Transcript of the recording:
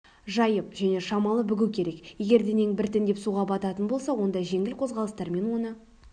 жайып және шамалы бүгу керек егер денең біртіндеп суға бататын болса онда жеңіл қозғалыстармен оны